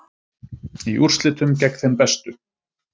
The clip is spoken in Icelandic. Í úrslitum gegn þeim bestu